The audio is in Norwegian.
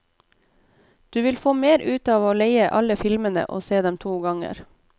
Du vil få mer ut av å leie alle filmene og se dem to ganger.